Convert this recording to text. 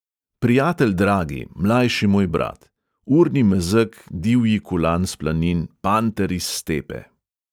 Prijatelj dragi, mlajši moj brat, urni mezeg, divji kulan s planin, panter iz stepe!